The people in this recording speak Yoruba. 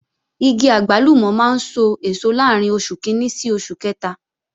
Igi àgbálùmọ̀ máa ń sọ èso láàrín oṣù kìíní sí oṣù kẹta